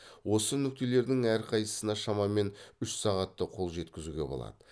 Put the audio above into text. осы нүктелердің әрқайсысына шамамен үш сағатта қол жеткізуге болады